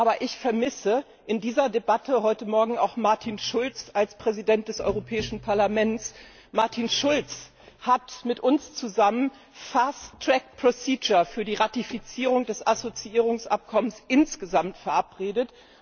Aber ich vermisse in dieser Debatte heute Morgen auch Martin Schulz als Präsident des Europäischen Parlaments. Martin Schulz hat mit uns zusammen die Fast Track Procedure für die Ratifizierung des Assoziierungsabkommens insgesamt verabredet.